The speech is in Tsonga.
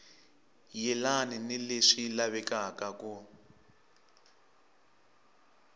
yelani ni leswi lavekaka ku